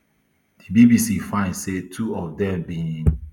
di bbc find say two of dem bin